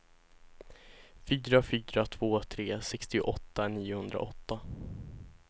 fyra fyra två tre sextioåtta niohundraåtta